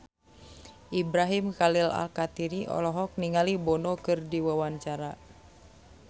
Ibrahim Khalil Alkatiri olohok ningali Bono keur diwawancara